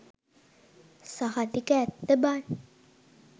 සහතික ඇත්ත බන්